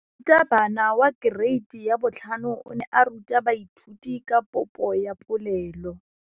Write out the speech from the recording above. Moratabana wa kereiti ya 5 o ne a ruta baithuti ka popô ya polelô.